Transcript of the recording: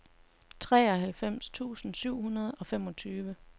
treoghalvfems tusind syv hundrede og femogtyve